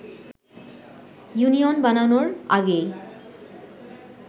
union বানানোর আগেই